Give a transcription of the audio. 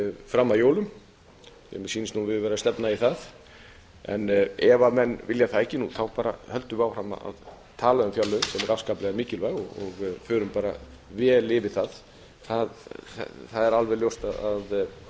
fram að jólum mér sýnist nú við vera að stefna í það en ef menn vilja það ekki þá bara höldum við áfram að tala um fjárlögin sem eru afskaplega mikilvæg og förum bara vel yfir það það er alveg ljóst að